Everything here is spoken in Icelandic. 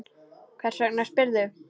Hvers vegna spyrðu?